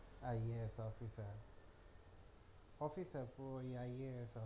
IASofficer ওই officerIASofficer